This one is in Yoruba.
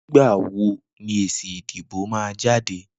Nigbà wó ni ésí idibó mà jàdé?